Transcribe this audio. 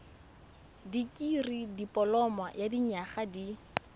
dikirii dipoloma ya dinyaga di